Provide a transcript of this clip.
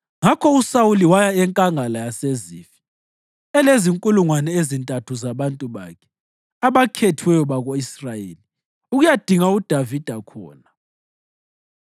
Ngakho uSawuli waya eNkangala yaseZifi, elezinkulungwane ezintathu zabantu bakhe abakhethiweyo bako-Israyeli, ukuyadinga uDavida khona.